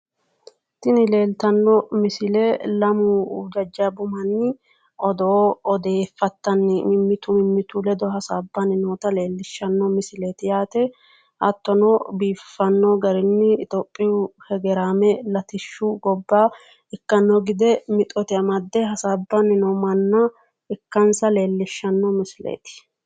Tini leeltanno misile lamu jajjabbu manni odoo odeeffattanni mimmitu mimmittu ledo hasaabbanni noota leellishshanno misileeti yaate. hattono biiffanno garinni iitiyoophiyu hegeeraame latishshu gobba ikkanno gede mixote amadde hasaabbanni noo manna ikkansa leellishshanno misileeti.